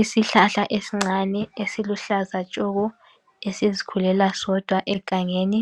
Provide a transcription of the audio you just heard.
Isihlahla esincane esiluhlaza tshoko ,esizikhulela sodwa egangeni.